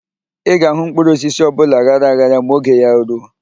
Ị ga-ahụ mkpụrụosisi ọbụla aghara aghara ma oge ya ruo.